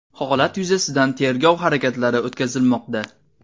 Holat yuzasidan tergov harakatlari o‘tkazilmoqda.